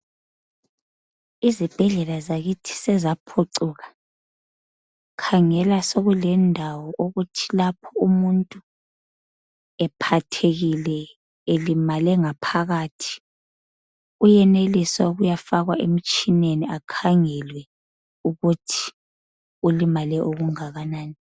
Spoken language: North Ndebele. Izibhedlela zakithi sezaphucuka. Khangela sokulendawo okuthi lapho umuntu ephathekile elimale ngaphakathi uyenelisa ukuyafakwa emtshineni akhangelwe ukuthi ulimale okungakanani.